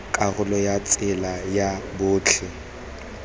karolo ya tsela ya botlhe